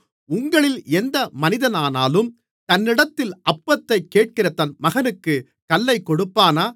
உங்களில் எந்த மனிதனானாலும் தன்னிடத்தில் அப்பத்தைக் கேட்கிற தன் மகனுக்குக் கல்லைக் கொடுப்பானா